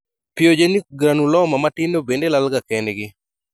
Pyogenic granuloma matindo bende lal ga kend gi